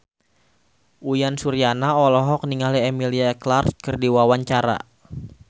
Uyan Suryana olohok ningali Emilia Clarke keur diwawancara